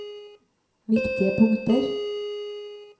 viktige punkter